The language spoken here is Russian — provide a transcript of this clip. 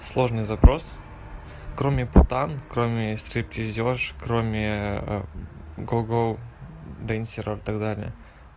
сложный запрос кроме путан кроме стриптизёрш кроме гоу гоу денсеров так далее